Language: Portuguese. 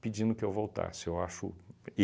pedindo que eu voltasse. Eu acho